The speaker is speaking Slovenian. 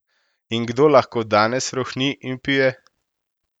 In kdo lahko danes rohni in vpije?